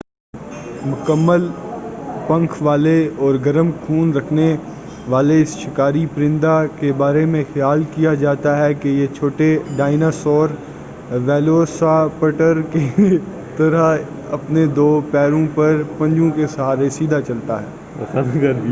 مکمل پنکھ والے اور گرم خون رکھنے والے اس شکاری پرندہ کے بارے میں خیال کیا جاتا ہے کہ یہ چھوٹے ڈائنا سور ویلوسیراپٹر کے طرح اپنے دو پیروں پر پنجوں کے سہارے سیدھے چلتا ہے